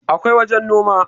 akwai wajen Noma